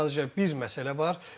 Sadəcə bir məsələ var.